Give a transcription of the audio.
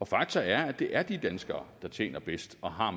fakta er at det er de danskere der tjener bedst og har